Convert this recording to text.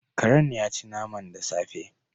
Karen yaci naman da safe